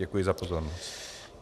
Děkuji za pozornost .